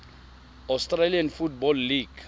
australian football league